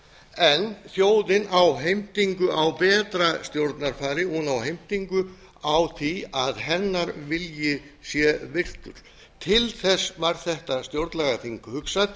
en þjóðin á heimtingu á betra stjórnarfari hún á heimtingu á því að hennar vilji sé virtur til þess var þetta stjórnlagaþing hugsað